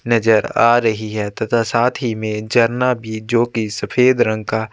नज़र आ रही है तथा साथ ही में झरना भी जो की सफ़ेद रंग का--